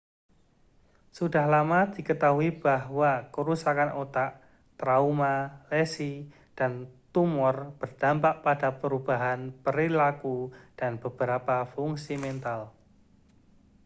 sudah lama diketahui bahwa kerusakan otak trauma lesi dan tumor berdampak pada perubahan perilaku dan beberapa fungsi mental